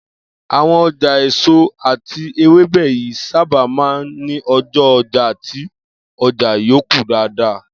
Àwo̩n o̩jà èso àti ewébè yìí sábà máa ń ní o̩jó̩ o̩jà tí o̩jà yóò kún dáadáa